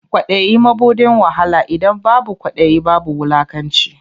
Kwaɗayi mabuɗin wahala, idan babu kwaɗayi ba wulakanci.